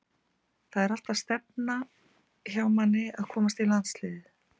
Það er alltaf stefnan hjá manni að komast í landsliðið.